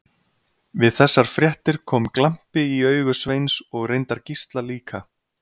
Við þessar fréttir kom glampi í augu Sveins og reyndar Gísla líka.